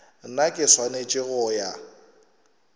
nna ke swanetse go ya